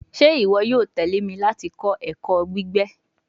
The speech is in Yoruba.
Ṣe iwọ yoo tẹle mi lati kọ ẹkọ gbigbe